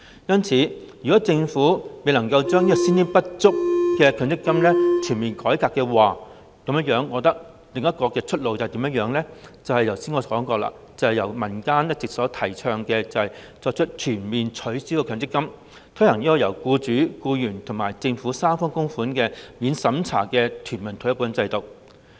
因此，若政府未能夠全面改革先天不足的強積金制度，我覺得另一條出路就是我剛才所說，正如民間一直提倡，全面取消強積金，改為推行由僱主、僱員及政府三方供款的免審查全民退休保障制度。